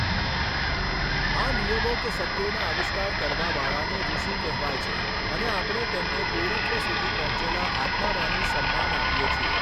આ નિયમો કે સત્યોના આવિષ્કાર કરવાવાળાને ઋષિ કહેવાય છે અને આપણે તેમને પૂર્ણત્વ સુધી પહોંચેલા આત્મામાની સમ્માન આપીએ છીએ.